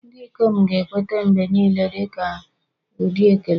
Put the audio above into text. Ndị ikom ga-ekweta mgbe niile dị ka ụdị ekele.